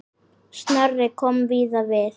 Snorri kom víða við.